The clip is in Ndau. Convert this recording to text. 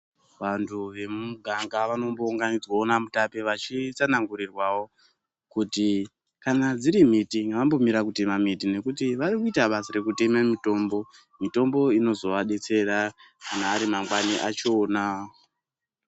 Vantu vemumuganga vanombounganidzwawo namutape vachitsanangurirwawo kuti kana dziri miti ngavambomira kutema miti nekuti vari kuita basa rekuteme mitombo, mitombo inozovadetsera kana ari mangwani achona.